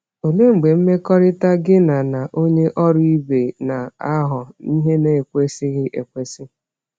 Olee mgbe mmekọrịta gị na na onye ọrụ ibe na-aghọ ihe na-ekwesịghị ekwesị?